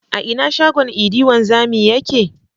A ina shagon idi wanzami yake?